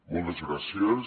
moltes gràcies